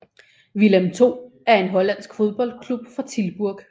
Willem II er en hollandsk fodboldklub fra Tilburg